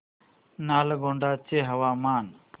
नालगोंडा चे हवामान